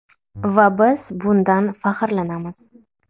Va biz bundan faxrlanamiz.